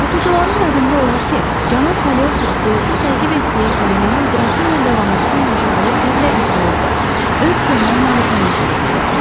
Oxucuların yadında olar ki, cənab Kaliostro polisin təqib etdiyi Olivanın Qrafinya de Lamottun yaşadığı evlə üzbəüzdə öz köhnə malikanəsində gizlətmişdi.